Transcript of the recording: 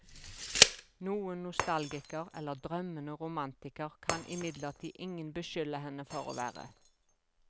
Noen nostalgiker eller drømmende romantiker kan imidlertid ingen beskylde henne for å være.